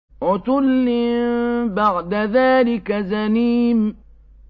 عُتُلٍّ بَعْدَ ذَٰلِكَ زَنِيمٍ